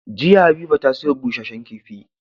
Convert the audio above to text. Jiya habiba ta siyo bushehen kifi